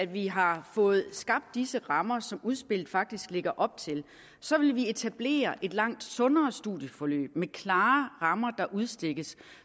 vi har fået skabt disse rammer som udspillet faktisk lægger op til så vil vi kunne etablere et langt sundere studieforløb med de klare rammer der udstikkes